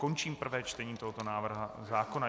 Končím prvé čtení tohoto návrhu zákona.